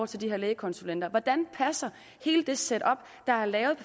til de her lægekonsulenter hvordan passer hele det setup der er lavet i